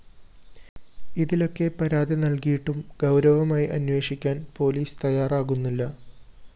ഇതിലൊക്കെ പരാതി നല്‍കിയിട്ടും ഗൗരവമായി അന്വേഷിക്കാന്‍ പോലീസ് തയ്യാറാകുന്നില്ല